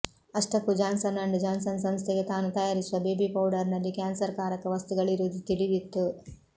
ಅಷ್ಟಕ್ಕೂ Johnson and Johnson ಸಂಸ್ಥೆಗೆ ತಾನು ತಯಾರಿಸುವ ಬೇಬಿ ಪೌಡರ್ ನಲ್ಲಿ ಕ್ಯಾನ್ಸರ್ ಕಾರಕ ವಸ್ತುಗಳಿರುವುದು ತಿಳಿದಿತ್ತು